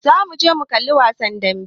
Za mu je mu kalla wasan dambe.